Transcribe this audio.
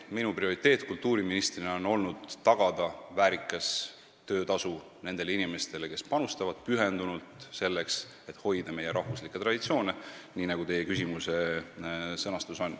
Minu prioriteet kultuuriministrina on olnud tagada väärikas töötasu nendele inimestele, kes panustavad pühendunult sellesse, et hoida meie rahvuslikke traditsioone, nagu teie küsimuse sõnastus on.